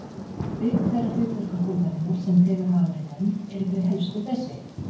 Auk þeirra hlutverka húðarinnar, sem þegar hafa verið nefnd, eru þau helstu þessi